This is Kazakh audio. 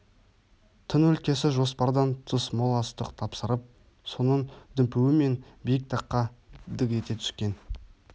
тың өлкесі жоспардан тыс мол астық тапсырып соның дүмпуімен биік таққа дік ете түскен